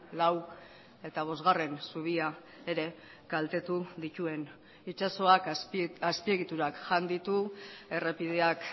lau eta bosgarren zubia ere kaltetu dituen itsasoak azpiegiturak jan ditu errepideak